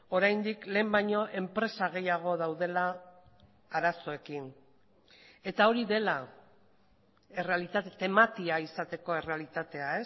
oraindik lehen baino enpresa gehiago daudela arazoekin eta hori dela errealitate tematia izateko errealitatea